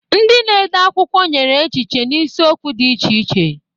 Ndị na-ede akwụkwọ nyere echiche n'isiokwu dị iche iche.